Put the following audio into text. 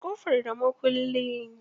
Buɗe ƙofar da mukulli.